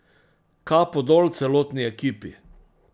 Kapo dol celotni ekipi!